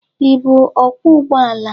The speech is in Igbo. Ï bụ ọkwọ ụgbọ ala?